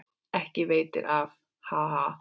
Ekki veitir af, ha ha!